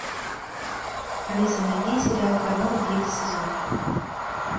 алиса найди сериал корона третий сезон